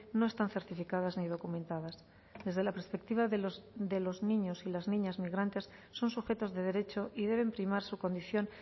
no están certificadas ni documentadas desde la perspectiva de los niños y las niñas migrantes son sujetos de derecho y deben primar su condición